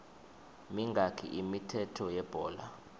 mingaki imithetho yebhola